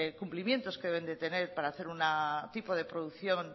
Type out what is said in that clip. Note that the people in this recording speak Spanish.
cumplimientos que deben de tener para hacer un tipo de producción